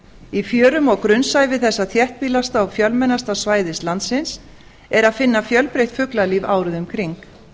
í fjörum og grunnsævi þessa þéttbýlasta og fjölmennasta svæðis landsins er að finna fjölbreytt fuglalíf árið um kring